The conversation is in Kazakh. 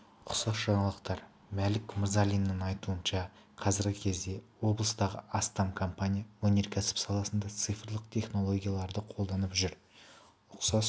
ұқсас жаңалықтар мәлік мырзалинніңайтуынша қазіргі кезде облыстағы астам компания өнеркәсіп саласында цифрлық технологияларды қолданып жүр ұқсас